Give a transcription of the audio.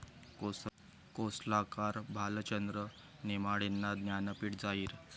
कोसला'कार भालचंद्र नेमाडेंना 'ज्ञानपीठ' जाहीर